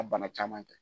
A bana caman tɛ